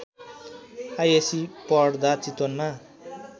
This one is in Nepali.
आइएस्सी पढ्दा चितवनमा